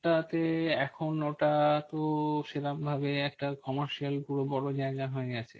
ওটাতে এখন ওটাতো সেরম ভাবে একটা commercial পুরো বড়ো জায়গা হয়ে গেছে।